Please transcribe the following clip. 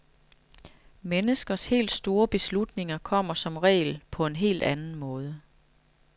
Menneskers helt store beslutninger kommer som regel på en helt anden måde.